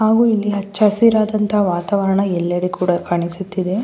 ಹಾಗು ಇಲ್ಲಿ ಹಚ್ಚ ಹಸಿರಾದಂತಹ ವಾತಾವರಣ ಎಲ್ಲೆಡೆ ಕೂಡ ಕಾಣಿಸುತ್ತಿದೆ. --